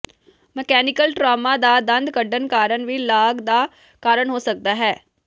mechanical trauma ਜਾਂ ਦੰਦ ਕੱਢਣ ਕਾਰਨ ਵੀ ਲਾਗ ਦਾ ਕਾਰਨ ਹੋ ਸਕਦਾ ਹੈ